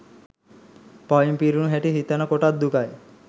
පවින් පිරුණු හැටි සිතන කොටත් දුකයි.